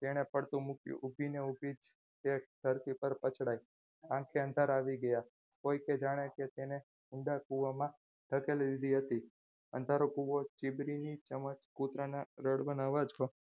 તેણે પડતું મૂક્યું ઊભીને ઉભી જ એ ધરતી પર પછડાઈ આંખે અંધારા આવી ગયા કોઈકે જાણે તેને ઊંડા કૂવામાં ધકેલી દીધી હતી અંધારો કુવો ચીબરીની ચમક કૂતરાના રડવાના અવાજ